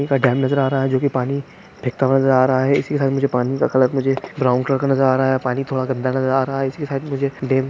एक डैम नजर आ रहा है जो की पानी फैंकता हुआ नज़र आ रहा है इसी के साथ मुझे पानी का कलर मुझे ब्राउन कलर का नज़र आ रहा है पानी थोड़ा गंदा नजर आ रहा है। इसी के साथ मुझे डैम --